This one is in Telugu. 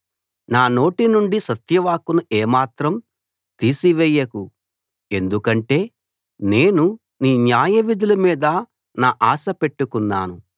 నా నోటినుండి సత్య వాక్కును ఏమాత్రం తీసి వేయకు ఎందుకంటే నేను నీ న్యాయవిధుల మీద నా ఆశ పెట్టుకున్నాను